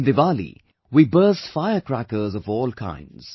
In Diwali we burst fire crackers of all kinds